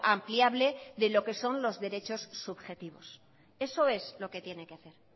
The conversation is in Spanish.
ampliable de lo que son los derechos subjetivos eso es lo que tiene que hacer